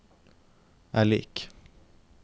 er lik